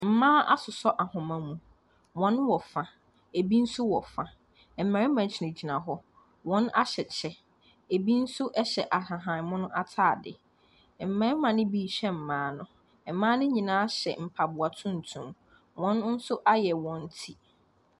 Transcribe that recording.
Mmea asoso ahoma mu wɔn wɔ fa ebi nso so wɔ fa mmarima gyina gyina hɔ wɔn ahyɛ kyɛw ebi nso ahyɛ ahaban mono ataadeɛ mmarima no bi hwɛ mmea no ɛmmea no nyinaa hyɛ mpaboa tuntum wɔn nso ayɛ wɔn tire.